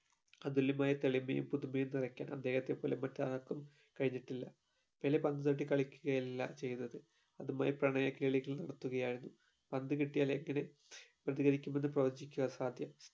അതുല്യമായ തെളിമയും പുതുമയും നിറയ്ക്കാൻ അദ്ദേഹത്തെ പോലെ മറ്റാർക്കും കഴിഞ്ഞിട്ടില്ല പെലെ പന്ത് തട്ടി കളിക്കുകയല്ല ചെയ്യുന്നത് അതുമായി പ്രണയകേളികൾ നടത്തുകയാണ് പന്തുകിട്ടിയാൽ എങ്ങനെ പ്രതികരിക്കുമെന്ന് പ്രവചിക്കുവ അസാധ്യം